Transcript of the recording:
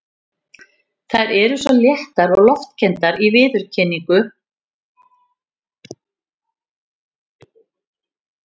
Þær eru svo léttar og loftkenndar í viðkynningu, gætu næstum verið huldukonur.